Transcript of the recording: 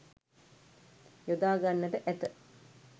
යොදා ගන්නට ඇත.